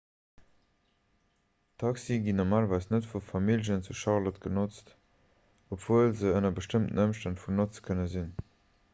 taxie ginn normalerweis net vu familljen zu charlotte genotzt obwuel se ënner bestëmmten ëmstänn vun notze kënne sinn